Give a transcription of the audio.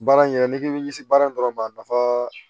Baara in yɛrɛ n'i k'i bi se baara in dɔrɔn ma a nafa